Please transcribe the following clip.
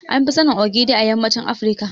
An fi sanin Ogiri a yammacin Afirka.